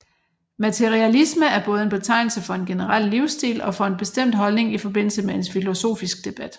Materialisme er både en betegnelse for en generel livsstil og for en bestemt holdning i forbindelse med en filosofisk debat